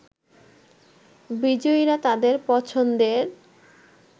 বিজয়ীরা তাদের পছন্দের